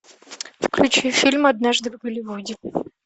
включи фильм однажды в голливуде